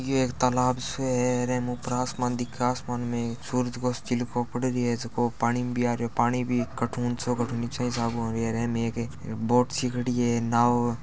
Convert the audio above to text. यो एक तालाब सो है रे एम ऊपर आसमान दिखे आसमान में सूरज गो सो चिल्को पड़ रहो है जको पानी में आरो पानी भी कड़े हु ऊंचो कड़े हु नीचो ये हिसाब को होरो है एम एक बोट सी खड़ी है नाव --